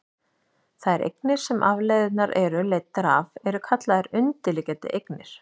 þær eignir sem afleiðurnar eru leiddar af eru kallaðar undirliggjandi eignir